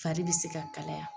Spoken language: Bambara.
Fari bi se ka kalaya